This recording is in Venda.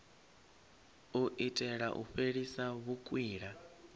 u itela u fhelisa vhukwila